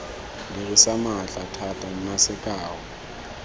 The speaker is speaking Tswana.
dirisa maatla thata nna sekao